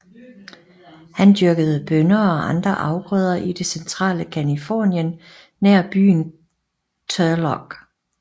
Han dyrkede bønner og andre afgrøder i det centrale Californien nær byen Turlock